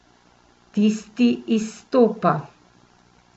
Tisti izstopa.